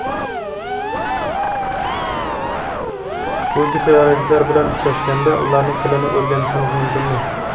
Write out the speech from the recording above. O‘zga sayyoraliklar bilan uchrashganda ularning tilini o‘rganishimiz mumkinmi?